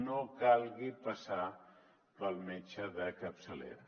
no calgui passar pel metge de capçalera